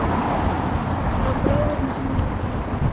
Frá bræðrum hennar í